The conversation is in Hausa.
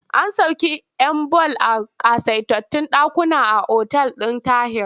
An sauƙe 'yan ball a ƙasaitattun ɗakuna a otal ɗin Tahir.